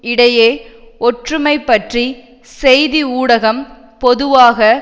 இடையே ஒற்றுமை பற்றி செய்தி ஊடகம் பொதுவாக